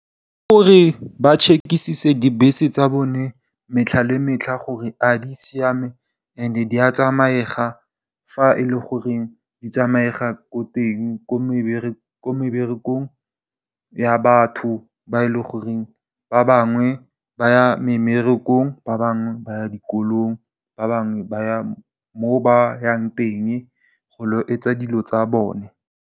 Ke gore ba check-isise dibese tsa bone metlha le metlha gore a di siame and di a tsamaega fa e leng gore di tsamaega ko teng ko meberekong ya batho ba e leng gore ba bangwe ba ya mmerekong, ba bangwe ba dikolong, ba bangwe ba ba yang teng go ilo etsa dilo tsa bone.